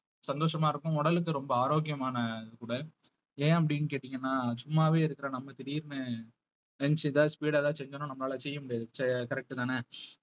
சந்தோஷமா இருக்கும் உடலுக்கு ரொம்ப ஆரோக்கியமான கூட ஏன் அப்படின்னு கேட்டீங்கன்னா சும்மாவே இருக்கற நம்ம திடீர்ன்னு friends எதாவது speed ஆ ஏதாவது செஞ்சோம்னா நம்மளால அத செய்ய முடியாது ச~ correct தானே